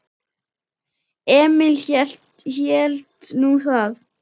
Emil hélt nú það.